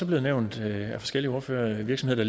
blevet nævnt af forskellige ordførere virksomheder